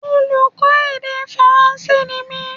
Oluko èdè faranse ni mí